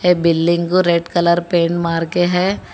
ये बिल्डिंग को red colour paint मार के है।